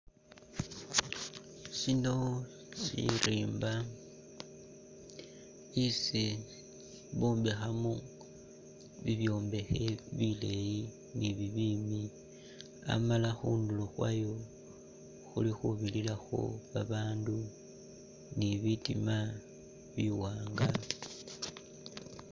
Shino shirimba isi bombekhamo bibyombekhe bileeyi ni bibimbi Amala khundulo khwayo khuli khubirirakho babandu ni bitima biwanga